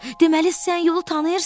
Deməli sən yolu tanıyırsan?